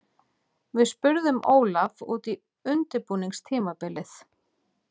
Við spurðum Ólaf út í undirbúningstímabilið.